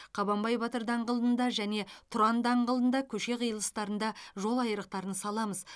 қабанбай батыр даңғылында және тұран даңғылығында көше қиылыстарында жол айрықтарын саламыз